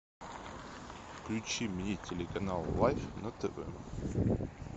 включи мне телеканал лайф на тв